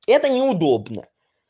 это неудобно